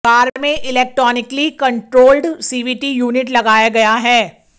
car में electronically controlled CVT unit लगाया गया है